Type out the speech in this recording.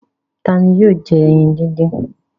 Ta ni yóò jẹ ẹyin dídín?